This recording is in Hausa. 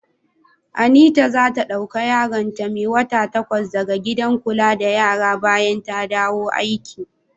Anita za ta dauka yaron ta mai wata takwas da ga gidan kula da yara bayan ta dawo aiki.